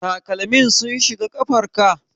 Takalman sun shiga kafar ka?